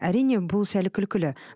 әрине бұл сәл күлкілі